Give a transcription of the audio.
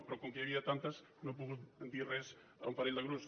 però com que n’hi havia tantes no he pogut dir res a un parell de grups